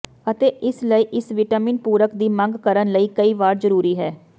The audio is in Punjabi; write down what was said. ਅਤੇ ਇਸ ਲਈ ਇਸ ਿਵਟਾਿਮਨ ਪੂਰਕ ਦੀ ਮੰਗ ਕਰਨ ਲਈ ਕਈ ਵਾਰ ਜ਼ਰੂਰੀ ਹੈ